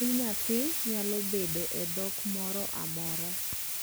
nying nyathi naylo bedo e dhok moro amora